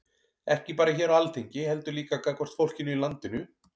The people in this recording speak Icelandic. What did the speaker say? Ekki bara hér á Alþingi heldur líka gagnvart fólkinu í landinu?